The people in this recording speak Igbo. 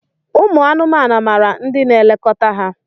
Ụmụ anụmanụ maara ndị na-elekọta ha.